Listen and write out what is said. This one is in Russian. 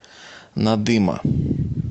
надыма